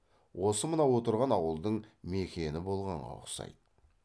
осы мына отырған ауылдың мекені болғанға ұқсайды